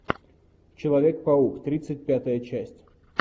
человек паук тридцать пятая часть